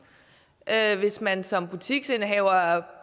hvis man som butiksindehaver er